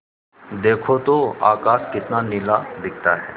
देखो तो आकाश कितना नीला दिखता है